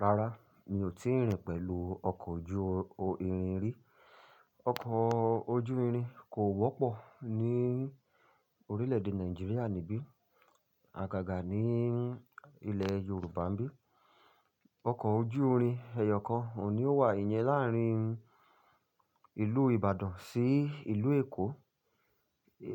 Rárá, mi ò tíì rìn pẹ̀lú ọkọ̀ ojú-irin rí. Ọkọ̀ ojú-irin kò wọ́pọ̀ ní orílẹ̀-èdè Nàìjíríà níbí, àgàgà ní ilẹ̀ Yorùbá n bí. Ọkọ̀ ojú-irin ẹyọ kan ò ní ó wà ìyẹn láàárín ìlú Ìbàdàn sí ìlú Èkó.